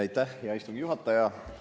Aitäh, hea istungi juhataja!